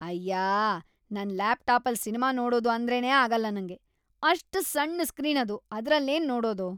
ಅಯ್ಯಾ.. ನನ್ ಲ್ಯಾಪ್ಟಾಪಲ್ ಸಿನ್ಮಾ ನೋಡೋದು ಅಂದ್ರೇನೇ ಆಗಲ್ಲ ನಂಗೆ. ಅಷ್ಟ್‌ ಸಣ್ಣು ಸ್ಕ್ರೀನ್‌ ಅದು.. ಅದ್ರಲ್ಲೇನ್‌ ನೋಡದು.